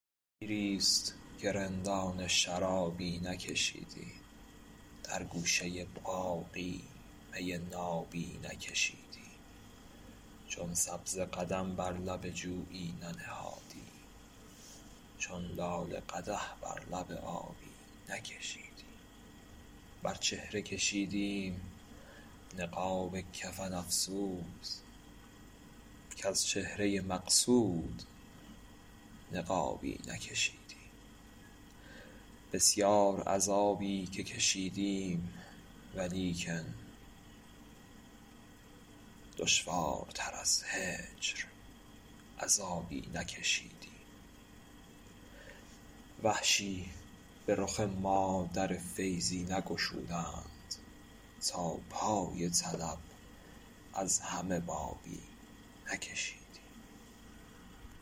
دیریست که رندانه شرابی نکشیدیم در گوشه باغی می نابی نکشیدیم چون سبزه قدم بر لب جویی ننهادیم چون لاله قدح بر لب آبی نکشیدیم بر چهره کشیدیم نقاب کفن افسوس کز چهره مقصود نقابی نکشیدیم بسیار عذابی که کشیدیم ولیکن دشوارتر از هجر عذابی نکشیدیم وحشی به رخ ما در فیضی نگشودند تا پای طلب از همه بابی نکشیدیم